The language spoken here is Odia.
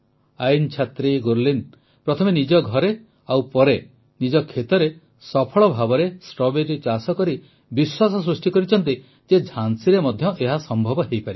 ଆଇନ ଛାତ୍ରୀ ଗୁରଲୀନ ପ୍ରଥମେ ନିଜ ଘରେ ଓ ପରେ ନିଜ କ୍ଷେତରେ ସଫଳ ଭାବେ ଷ୍ଟ୍ରବେରୀ ଚାଷ କରି ବିଶ୍ୱାସ ସୃଷ୍ଟି କରିଛନ୍ତି ଯେ ଝାନ୍ସୀରେ ମଧ୍ୟ ଏହା ସମ୍ଭବ ହୋଇପାରିବ